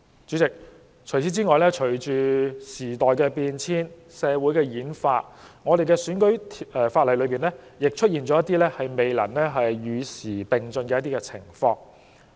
主席，此外，面對時代變遷和社會演化，我們的選舉法例卻在某些方面未能與時並進。